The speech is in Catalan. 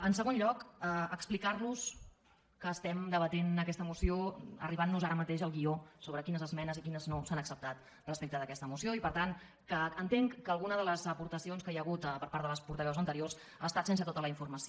en segon lloc explicar·los que estem debatent aques·ta moció i ens arriba ara mateix el guió sobre quines esmenes i quines no s’han acceptat respecte d’aquesta moció i per tant que entenc que alguna de les apor·tacions que hi ha hagut per part de les portaveus ante·riors ha estat sense tota la informació